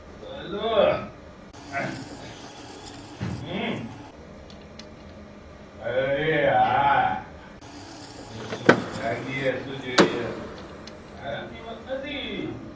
hello હમ અરે હા મોડે સુધી જાગીએ શું જોઈએ આરામની વાત નથી